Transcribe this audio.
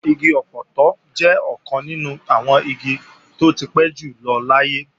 Igi ọpọtọ jẹ́ ọ̀kan nínú àwọn igi tó ti pẹ́ jùlọ láyé